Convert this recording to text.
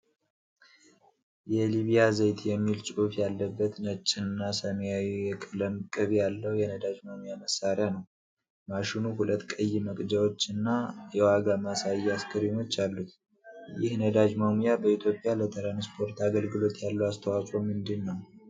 የሊቢያ ዘይት የሚል ጽሑፍ ያለበት ነጭና ሰማያዊ የቀለም ቅብ ያለው የነዳጅ መሙያ መሳሪያ ነው። ማሽኑ ሁለት ቀይ መቅጃዎች እና የዋጋ ማሳያ ስክሪኖች አሉት። ይህ ነዳጅ መሙያ በኢትዮጵያ ለትራንስፖርት አገልግሎት ያለው አስተዋጽኦ ምንድነው?